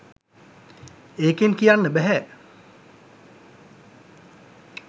එකෙන් කියන්න බැහැ